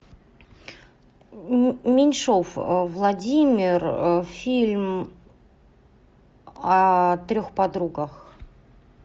меньшов владимир фильм о трех подругах